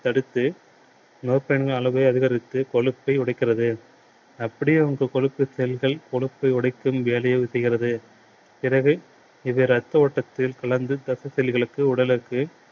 தடுத்து propain களின் அளவை அதிகரித்து கொழுப்பை உடைக்கிறது. அப்படியே வந்து கொழுப்பு செல்கள் கொழுப்பை உடைக்கும் வேலையை செய்கிறது. எனவே இது ரத்த ஓட்டத்தில் கலந்து ரத்த செல்களுக்கு உடலுக்கு